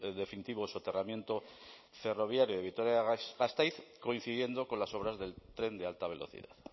definitivo soterramiento ferroviario de vitoria gasteiz coincidiendo con las obras del tren de alta velocidad